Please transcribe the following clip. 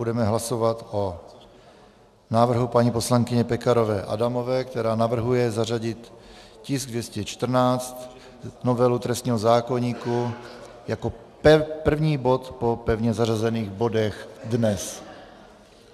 Budeme hlasovat o návrhu paní poslankyně Pekarové Adamové, která navrhuje zařadit tisk 214, novelu trestního zákoníku, jako první bod po pevně zařazených bodech dnes.